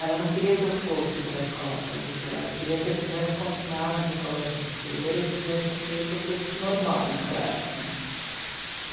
Ela não queria que eu fosse para a escola pública, ela queria que eu tivesse continuado no colégio de freira e tivesse feito o curso normal naquela época né.